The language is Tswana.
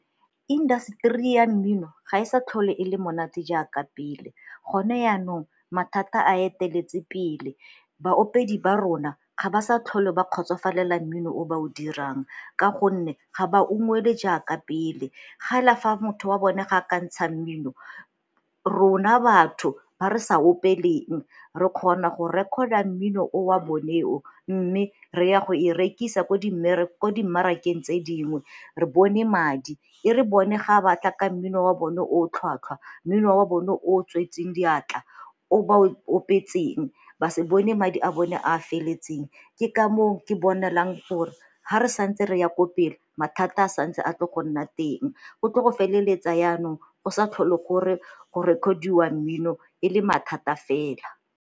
Indaseteri ya mmino ga e sa tlhole e le monate jaaka pele, gone yanong mathata a eteletse pele. Baopedi ba rona ga ba sa tlhole ba kgotsofalela mmino o ba o dirang ka gonne ga ba ungwelwe jaaka pele gela fa motho wa bone ga a ka ntsha mmino, rona batho ba re sa opeleng re kgona go record-a mmino o wa bone o mme re ya go e rekisa ko dimmarakeng tse dingwe re bone madi e re bone ga ba tla ka mmino wa bone o tlhwatlhwa, mmino wa bone o tswetseng diatla, o ba opetseng ba se bone madi a bone a a feletseng. Ke ka moo ke bonelang gore ga re sa ntse re ya ko pele mathata a santse a ka go nna teng go tlo go feleletsa yanong go sa tlhole gore go record-iwa mmino e le mathata fela.